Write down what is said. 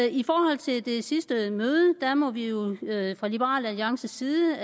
i forhold til det sidste møde må vi jo fra liberal alliances side